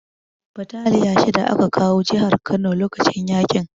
Bataliya shida aka kawo jihar Kano lokacin yaƙin